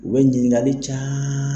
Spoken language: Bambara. U bɛ ɲininkali ca